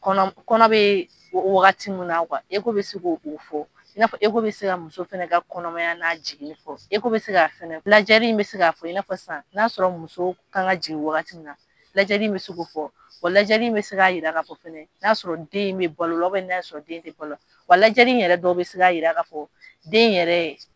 Kɔnɔ bɛ wagati min na bɛ se k'o fɔ i n'a fɔ bɛ se ka muso fana ka kɔnɔmaya n'a jiginni fɔ bɛ se ka fɛnɛ lajɛli bɛ se k'a fɔ i n'a sisan n'a sɔrɔ muso ka jigin wagati na lajɛli in bɛ se k'o fɔ wa lajɛli bɛ se k'a jira k'a fɔ fɛnɛ n'a sɔrɔ den bɛ balo la n'a sɔrɔ den tɛ balo la wa lajɛli i yɛrɛ dɔ bɛ se k'a jira ka fɔ den yɛrɛ ye